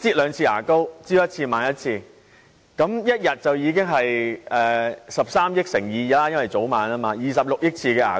會擠兩次牙膏，早晚各一次，一天便等於13億次乘 2， 即大家會擠26億次的牙膏。